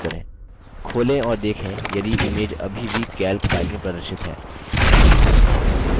खोलें और देखें यदि image अभी भी calc file में प्रदर्शित है